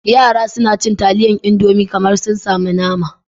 Yara suna cin taliyar Indomi kamar sun samu nama.